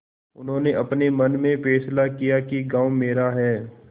उन्होंने अपने मन में फैसला किया कि गॉँव मेरा है